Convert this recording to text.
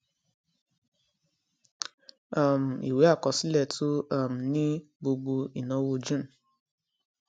um ìwé àkọsílẹ tún um ní gbogbo ináwó june